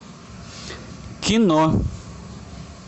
кино